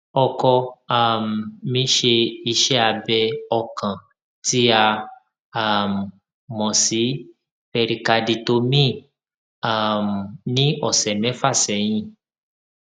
ọkọ um mi ṣe iṣẹ abẹ ọkàn tí a um mọ sí pẹrikaditomíì um ní ọsẹ mẹfà sẹyìn